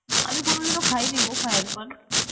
আমি কোনদিন ও খাইনি গো fire পান